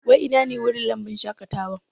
Wai ina ne wurin lambun shaƙatawan?